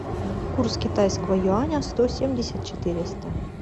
курс китайского юаня сто семьдесят четыреста